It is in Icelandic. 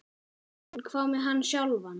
En hvað með hann sjálfan?